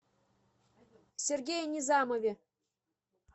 сергее низамове